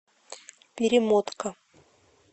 перемотка